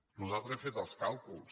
nosaltres hem fet els càlculs